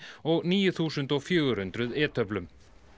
og níu þúsund fjögur hundruð e töflum